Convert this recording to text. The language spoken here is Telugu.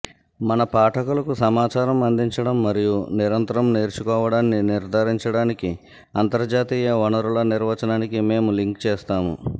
మన పాఠకులకు సమాచారం అందించడం మరియు నిరంతరం నేర్చుకోవడాన్ని నిర్థారించడానికి అంతర్జాతీయ వనరుల నిర్వచనానికి మేము లింక్ చేస్తాము